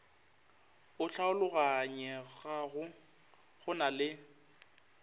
o hlaologanyegago go na le